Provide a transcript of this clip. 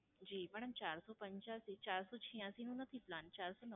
જી, madam ચારસો પંચ્યાશી ચારસો છ્યાંસી નો નથી Plan ચારસો